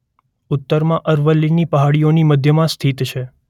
ઉત્તરમાં અરવલ્લીની પહાડીઓની મધ્યમાં સ્થિત છે.